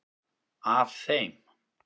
Af þeim